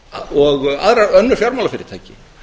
og önnur fjármálafyrirtæki